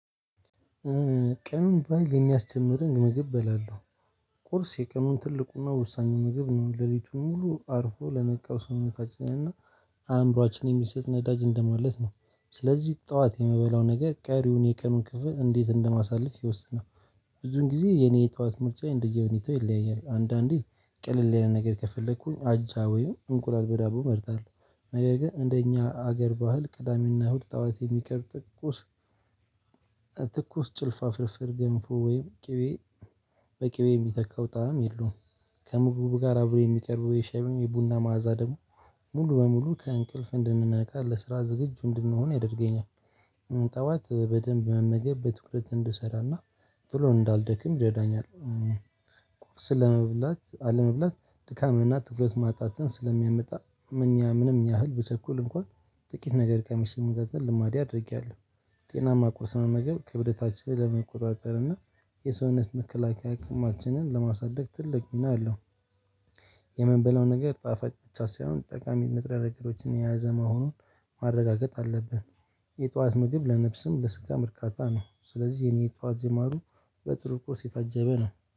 ቀኑን ባይል የሚያስጀምረኝ ምግብ በላለው ቁርስ የቀኑን ትልቁና ወሳኙ ምግብ ነው። ሌሊቱን ሙሉ አርፎ ለነቃው ስውነታችንና አእምሮአችን የሚሰጥ ነዳጅ እንደማለት ነው። ስለዚህ ጠዋት የምበላው ነገር ቀሪውን የቀኑን ክፍል እንዴት እንደማሳልፍ ይወስናል። ብዙን ጊዜ የኔ የጠዋት ምርጫ እንደየ ሁኔታው ይለያያል። አንዳንዴ ቅልል ያለ ነገር ከፈለኩኝ አጃ ወይም እንቁላል በዳቦ መርጣለሁ። ነገር ግን እንደኛ አገር ባህል ቅዳሜና እሁድ ጠዋት የሚቀር ቁርስ። ትኩስ ጭልፋ ፍርፍር ገንፎ ወይም ቅቤ በቅቤ የሚተካው ጣዕም የለውም። ከምግቡ ጋር አብሮ የሚቀርበው የሸሚው የቡና ማዕዛ ደሞ ሙሉ በሙሉ ከእንቅልፍ እንድንነቃ ለስራ ዝግጁ እንድንሆን ያደርገኛል። ጠዋት በደንብ መመገብ በትኩረት እንድሰራና ቶሎ እንዳልደክም ይረዳኛል። ቁርስን ለመብላት አለመብላት ድካምንና ትኩረት ማጣትን ስለሚያመጣ እኛ ምንም ያህል ብቸኩል እንኳን ጥቂት ነገር ቀምሼ የመቀጠል ልማዴ አድርጌያለሁ። ጤናማ ቁርስ መመገብ ክብደታችንን ለመቆጣጠር እና የሰውነት መከላከያ አቅማችንን ለማሳደግ ትልቅ ሚና አለው። የምንበላው ነገር ጣፋጭ ብቻ ሳይሆን ጠቃሚ ንጥረ ነገሮችን የያዘ መሆኑን ማረጋገጥ አለብን። የጧት ምግብ ለነፍስም ለስጋም እርካታ ነው ስለዚህ የኔ ጧት ጅማሮ በጥሩ ቁርስ የታጀበ ነው